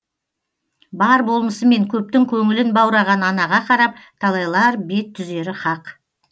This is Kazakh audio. бар болмысымен көптің көңілін баураған анаға қарап талайлар бет түзері хақ